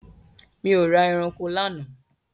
Mi ò ra eranko lánàá.